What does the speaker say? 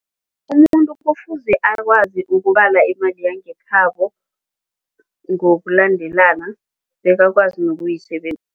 Umuntu kufuze akwazi ukubala imali yangekhabo ngokulandelana bekakwazi